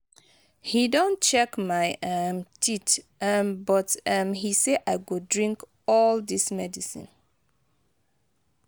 he don check my um teeth um but um he said i go drink all dis medicine.